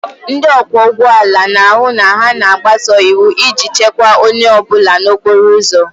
Ndị ọkwọ ụgbọ ala na-ahụ na ha na-agbaso iwu iji chekwaa onye ọ bụla n'okporo ụzọ